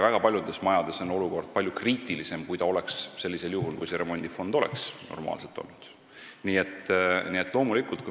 Väga paljudes majades on olukord palju kriitilisem, kui see oleks sellisel juhul, kui see remondifond oleks olemas olnud.